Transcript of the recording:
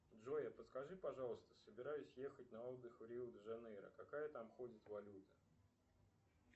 джой подскажи пожалуйста собираюсь на отдых в рио де жанейро какая там ходит валюта